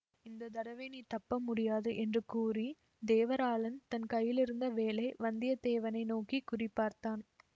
இந்த தடவை நீ தப்ப முடியாது என்று கூறித் தேவராளன் தன் கையிலிருந்த வேலை வந்தியத்தேவனை நோக்கி குறி பார்த்தான்